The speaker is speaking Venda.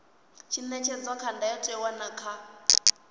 ṅetshedzwa kha ndayotewa na kha